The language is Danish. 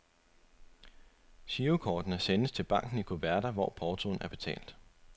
Girokortene sendes til banken i kuverter, hvor portoen er betalt.